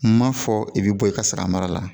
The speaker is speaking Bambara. N ma fɔ i bɛ bɔ i ka sara mara la